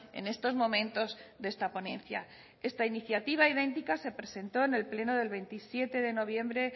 en estos momentos de esta ponencia esta iniciativa idéntica se presentó en el pleno del veintisiete de noviembre